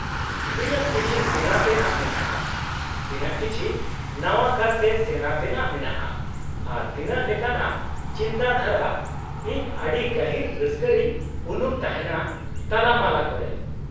-ᱛᱤᱱᱟᱹᱜ ᱠᱤᱪᱷᱤ ᱥᱮᱬᱟ ᱛᱮᱱᱟᱜ ᱢᱮᱱᱟᱜᱼᱟ , ᱛᱤᱱᱟᱹᱜ ᱠᱤᱪᱷᱤ ᱱᱟᱣᱟ ᱠᱟᱨᱛᱮ ᱥᱮᱬᱟ ᱛᱮᱱᱟᱜ ᱢᱮᱱᱟᱜᱼᱟ , ᱟᱨ ᱛᱤᱱᱟᱹᱜ ᱞᱮᱠᱟᱱᱟᱜ ᱪᱤᱱᱛᱟᱹ ᱫᱷᱟᱨᱟ , ᱤᱧ ᱟᱰᱤ ᱜᱟᱦᱤᱨ ᱨᱟᱹᱥᱠᱟᱹ ᱨᱮᱧ ᱩᱱᱩᱢ ᱛᱟᱦᱮᱱᱟ ᱛᱟᱞᱟ ᱢᱟᱞᱟ ᱠᱚᱨᱮ ᱾